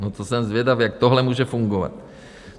No to jsem zvědav, jak tohle může fungovat.